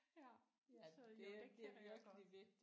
Ja så jo det kender jeg godt